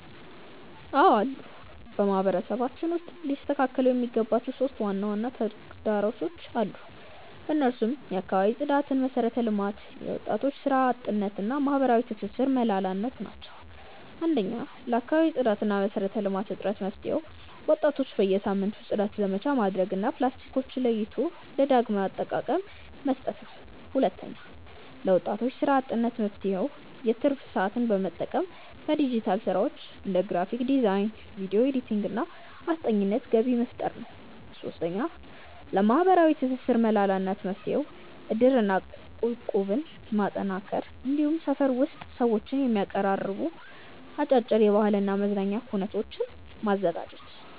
አዎ አሉ። በማህበረሰባችን ውስጥ ሊስተካከሉ የሚገባቸው 3 ዋና ዋና ተግዳሮቶች አሉ። እነሱም የአካባቢ ጽዳትና መሰረተ ልማት፣ የወጣቶች ስራ አጥነት እና የማህበራዊ ትስስር መላላት ናቸው። 1. ለአካባቢ ጽዳትና መሰረተ ልማት እጥረት መፍትሄው፦ ወጣቶች በየሳምንቱ የጽዳት ዘመቻ ማድረግ እና ፕላስቲኮችን ለይቶ ለዳግም አጠቃቀ መስጠት ነው። 2. ለወጣቶች ስራ አጥነት መፍትሄው፦ የትርፍ ሰዓትን በመጠቀም በዲጂታል ስራዎች (እንደ ግራፊክ ዲዛይን፣ ቪዲዮ ኤዲቲንግ) እና አስጠኚነት ገቢ መፍጠር ነው። 3. ለማህበራዊ ትስስር መላላት መፍትሄው፦ እድርና እቁብን ማጠናከር፣ እንዲሁም ሰፈር ውስጥ ሰዎችን የሚያቀራርቡ አጫጭር የባህልና የመዝናኛ ኩነቶችን ማዘጋጀት።